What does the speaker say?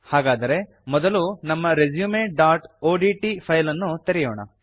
ಹಾಗಾದರೆ ಮೊದಲು ನಮ್ಮ resumeಒಡಿಟಿ ಫೈಲ್ ಅನ್ನು ತೆರೆಯೋಣ